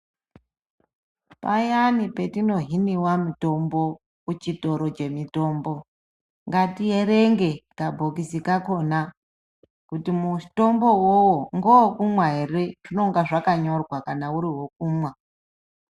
Payani patino hiniwa mitombo kuchitoro che mitombo ngati erenge ka bhokisi kakona kuti mutombo uwowo ngewe kumwa ere zvinenge zvaka nyorwa kana uri wekumwa.